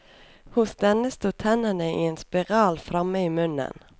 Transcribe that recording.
Hos denne sto tennene i en spiral framme i munnen.